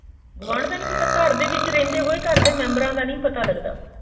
ਗੁਆਢ ਦਾ ਨਹੀਂ ਪਤਾ ਘਰ ਦੇ ਵਿੱਚ ਰਹਿੰਦੇ ਹੋਏ ਘਰ ਦੇ ਮੈਬਰ ਦਾ ਨਹੀਂ ਪਤਾ ਲੱਗਦਾ